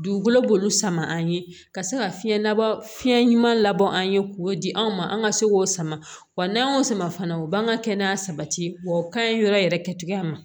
Dugukolo b'olu sama an ye ka se ka fiɲɛ labɛn ɲuman labɔ an ye k'o di anw ma an ka se k'o sama wa n'an y'o sama fana u b'an ka kɛnɛya sabati wa o ka ɲi yɔrɔ yɛrɛ kɛcogoya ma